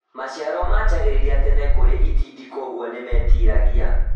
Maciaro manjagĩrĩria tene kũrĩ itindiĩ kwoguo nĩmetiragia